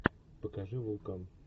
покажи вулкан